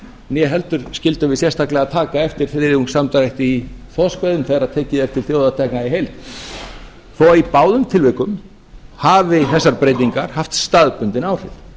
né heldur skyldum við sérstaklega taka eftir þriðjungs samdrætti í þorskveiðum þegar tekið er til þjóðartekna í heild þó að í báðum tilvikum hafi þessar breytingar haft staðbundin áhrif